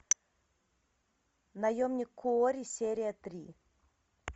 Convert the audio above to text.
наемник куорри серия три